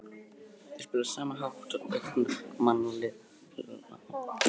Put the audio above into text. Þeir spila á sama hátt og áhugamannalið nema bara á góðu grasi.